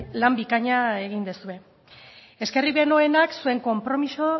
lan bikaina egin duzue eskerrik beroenak zuen konpromiso